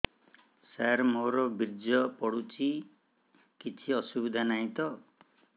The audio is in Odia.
ସାର ମୋର ବୀର୍ଯ୍ୟ ପଡୁଛି କିଛି ଅସୁବିଧା ନାହିଁ ତ